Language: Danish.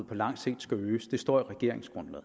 på lang sigt